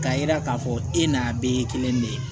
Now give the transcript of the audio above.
K'a yira k'a fɔ e n'a bɛɛ ye kelen de ye